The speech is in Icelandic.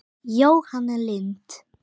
Jóhanna Lind.